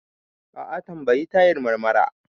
A'a, tambayi Tahir Marmara.